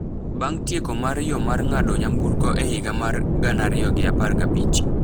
Bang’ tieko mar yo mar ng’ado nyamburko e higa mar gana ariyo gi apar gi abich,